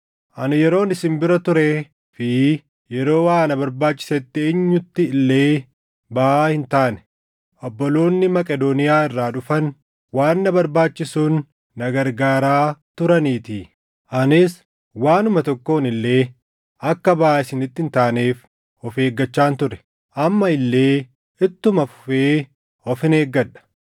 Ani yeroon isin bira turee fi yeroo waa na barbaachisetti eenyutti illee baʼaa hin taane; obboloonni Maqedooniyaa irraa dhufan waan na barbaachisuun na gargaaraa turaniitii. Anis waanuma tokkoon illee akka baʼaa isinitti hin taaneef of eeggachaan ture; amma illee ittuma fufee ofin eeggadha.